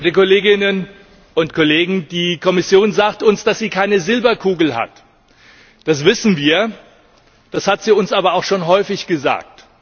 Herr Präsident, liebe Kolleginnen und Kollegen! Die Kommission sagt uns, dass sie keine Silberkugel hat. Das wissen wir, das hat Sie uns aber schon häufig gesagt.